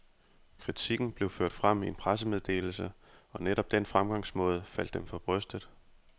Kritikken blev ført frem i en pressemeddelse, og netop den fremgangsmåde faldt dem for brystet.